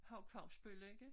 Hauch-Fausbøll ikke